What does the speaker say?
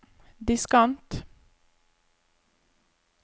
diskant